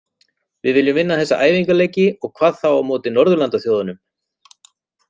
Við viljum vinna þessa æfingaleiki og hvað þá á móti Norðurlandaþjóðunum.